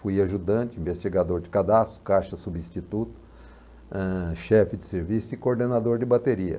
Fui ajudante, investigador de cadastro, caixa substituto, eh, chefe de serviço e coordenador de bateria.